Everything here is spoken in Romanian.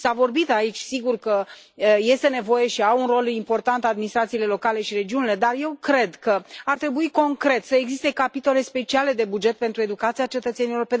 S a vorbit aici, sigur, că este nevoie și au un rol important administrațiile locale și regiunile, dar eu cred că ar trebui, concret, să existe capitole speciale de buget pentru educația cetățenilor.